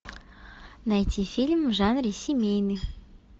найти фильм в жанре семейный